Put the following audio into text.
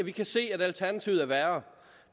vi kan se at alternativet er værre